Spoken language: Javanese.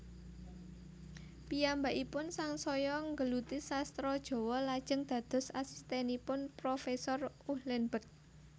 Piyambakipun sangsaya nggeluti sastra Jawa lajeng dados asistènipun profésor Uhlenbeck